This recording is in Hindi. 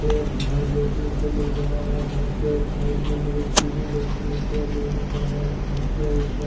मुझे एक घर देखने को मिल रहा है घर के साइड में मुझे सीडी देखने को मिल रहा है घर से ऊपर--